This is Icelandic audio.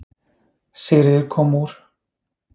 Sigríður kom úr